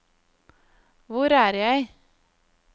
hvor er jeg